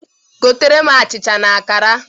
Goteere m achịcha na akara!